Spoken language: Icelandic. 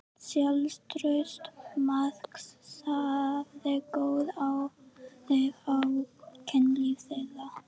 Sjálfstraust Marks hafði góð áhrif á kynlíf þeirra.